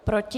Proti?